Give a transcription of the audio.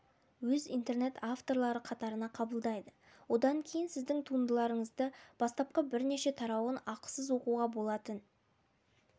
өз интернет авторлары қатарына қабылдайды одан кейін сіздің туындыларыңызды бастапқы бірнеше тарауын ақысыз оқуға болатын